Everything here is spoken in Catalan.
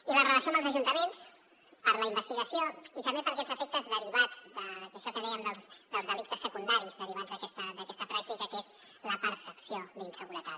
i la relació amb els ajuntaments per a la investigació i també per a aquests efectes derivats d’això que dèiem dels delictes secundaris derivats d’aquesta pràctica que és la percepció d’inseguretat